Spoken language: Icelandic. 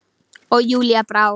Og Júlíu brá.